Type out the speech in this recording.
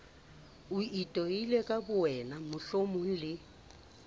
itoile ka bowena mohlomong le